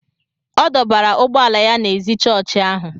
ọ dọbara ụgbọ ala ya ná ézì chọọchị ahụ